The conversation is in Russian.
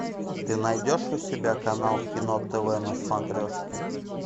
ты найдешь у себя канал кино тв на смотрешке